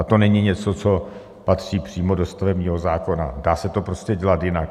A to není něco, co patří přímo do stavebního zákona, dá se to prostě dělat jinak.